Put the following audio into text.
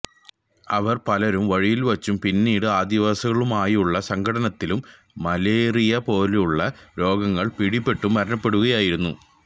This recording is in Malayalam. അവരില് പലരും വഴിയില്വച്ചും പിന്നീട് ആദിവാസികളുമായുള്ള സംഘട്ടനത്തിലും മലേറിയ പോലെയുള്ള രോഗങ്ങള് പിടിപെട്ടും മരണപ്പെടുകയുണ്ടായി